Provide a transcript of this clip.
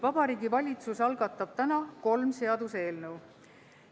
Vabariigi Valitsus algatab täna kolm seaduseelnõu.